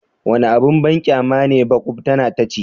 Wani abin banƙyama ne makubtana ta ce.